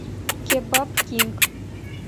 кебаб кинг